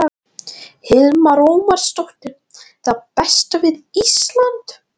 Hildur Ómarsdóttir: Það besta við Ísland?